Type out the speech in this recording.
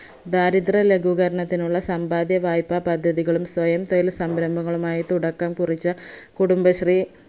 ദാരിദ്ര ലഘൂകരണത്തിനുള്ള സമ്പാദ്യ വായ്‌പ്പാ പദ്ധതികളും സ്വയം തൊഴിൽ സംരംഭങ്ങളുമായി തുടക്കം കുറിച്ച കുടുംബശ്രീ